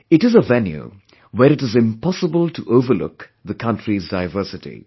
It is a venue where it is impossible to overlook the country's diversity